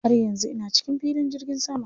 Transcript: Har yanzu ina cikin filin jirgin sama.